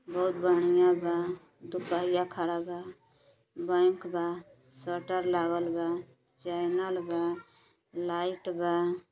बहुत बढ़िया बा दुपहिया खड़ा बा बैंक बा शटर लागल बा चैनल बा लाइट बा।